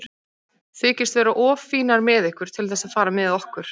Þykist vera of fínar með ykkur til þess að fara með okkur.